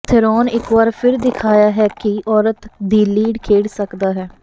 Theron ਇਕ ਵਾਰ ਫਿਰ ਦਿਖਾਇਆ ਹੈ ਕਿ ਔਰਤ ਦੀ ਲੀਡ ਖੇਡ ਸਕਦਾ ਹੈ